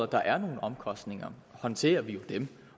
der er nogle omkostninger håndterer vi jo dem